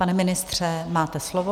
Pane ministře, máte slovo.